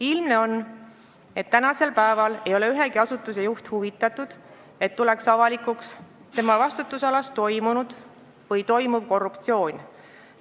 Ilmne on, et tänasel päeval ei ole ühegi asutuse juht huvitatud, et tema vastutusalas toimunud või toimuv korruptsioon tuleks avalikuks.